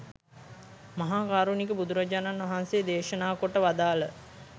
මහා කාරුණික බුදුරජාණන් වහන්සේ දේශනා කොට වදාළ